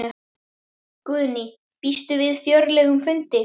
Guðný: Býstu við fjörlegum fundi?